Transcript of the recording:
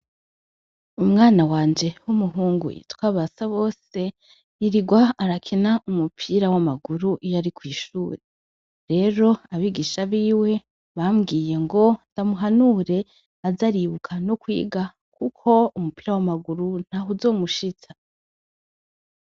Umwana wanje wumuhungu yitwa Basabose yirirwa barakina umupira wamaguru iyo ari kwishure. Rero abigisha biwe bambwiye ngo ndamuhanure aze aribuka no kwiga kuko umupira wamaguru ntaho uzomushitsa.